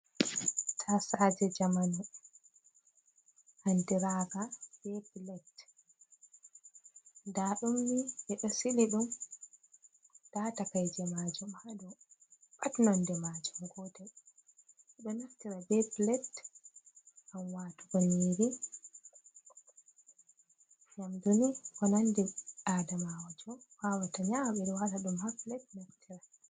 Ta saje jamanu, andiraga be pilet, nda ɗumni ɓeɗo sili ɗum nda takaije majum hadow, pat nonde majum gotel, ɓeɗo naftira be pilet ngam watugo ƴiri, yamduni ko nandi ɓi adamajo wawata nyama biri wata dum ha pilat naftira.